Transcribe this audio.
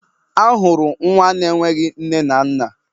A hụrụ nwa na enweghị nne na nna.